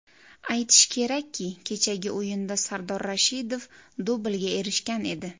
Aytish kerakki, kechagi o‘yinda Sardor Rashidov dublga erishgan edi.